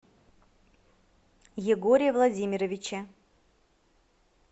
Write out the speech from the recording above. егоре владимировиче